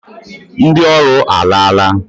Ndị ọrụ alaala.